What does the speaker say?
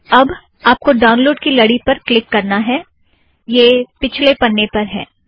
अब आप को ड़ाउनलोड़ की लड़ी पर क्लिक करना है यह पिछले पन्ने पर है